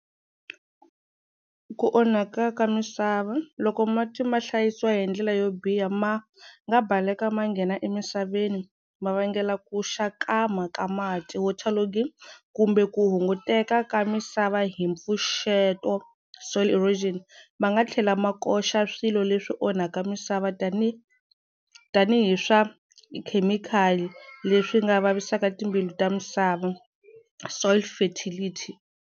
Ku onhaka ka misava loko mati ma hlayisiwa hi ndlela yo biha ma nga baleka ma nghena emisaveni ma vangela ku xakama ka mati water loading kumbe ku hunguteka ka misava hi mpfuxeto soil erosion ma nga tlhela ma koxa swilo leswi onhaka misava tani tanihi swa khemikhali leswi nga vavisaka timbilu ta misava soil fertility.